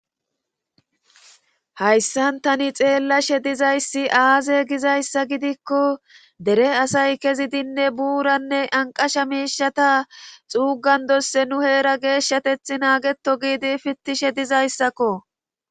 Hayssan taani xeelashe dizayssi aaze gizayssa gidiko dere asay kezidinne buranne anqqasha ta xuugandosse nu heera geshatetha naageto giidi pitishe dizayssakko.